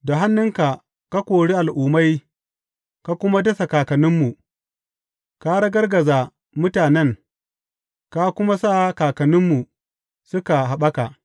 Da hannunka ka kori al’ummai ka kuma dasa kakanninmu; ka ragargaza mutanen ka kuma sa kakanninmu suka haɓaka.